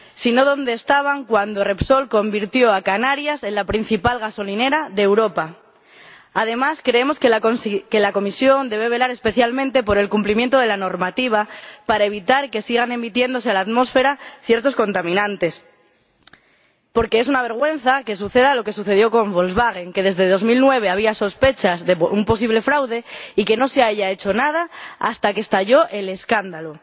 Si no, ¿dónde estaban cuando Repsol convirtió a Canarias en la principal gasolinera de Europa? Además, creemos que la Comisión debe velar especialmente por el cumplimiento de la normativa para evitar que sigan emitiéndose a la atmósfera ciertos contaminantes, porque es una vergüenza que suceda lo que ha sucedido con Volkswagen, ya que desde 2009 había sospechas de un posible fraude y no se ha hecho nada hasta que ha estallado el escándalo.